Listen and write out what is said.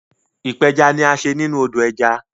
ipeja ní a ṣe nínú odo ẹja.